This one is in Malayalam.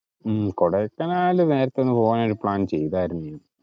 ഉം കൊടൈക്കനാല് നേരത്തെ ഒന്ന് പോവാനായിട്ട്‌ plan ചെയ്തതായിരുന്നു.